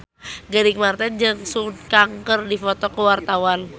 Gading Marten jeung Sun Kang keur dipoto ku wartawan